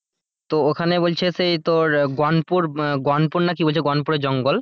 তো ওখানে বলছে সেই তোর গনপুর, গনপুর নাকি বলছে গনপুরের জঙ্গল,